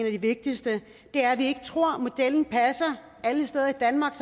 af de vigtigste er at vi ikke tror at modellen passer alle steder i danmark